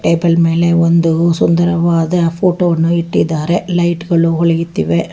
Table ಮೇಲೆ ಒಂದು ಸುಂದರವಾದ ಫೋಟೋ ವನ್ನು ಇಟ್ಟಿದ್ದಾರೆ ಲೈಟ್ ಗಳು ಒಳೆಯುತ್ತಿವೆ.